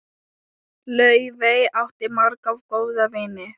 Laufey átti marga góða vini.